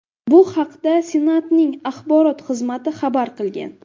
Bu haqda Senatning axborot xizmati xabar qilgan .